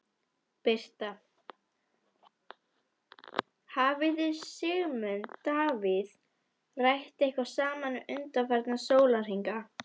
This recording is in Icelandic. Birta: Hafið þið Sigmundur Davíð rætt eitthvað saman undanfarna sólarhringa?